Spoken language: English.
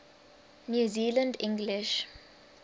new zealand english